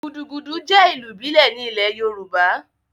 Gudugudu jẹ́ ìlù ìbílẹ̀ ní ilẹ̀ yoòbá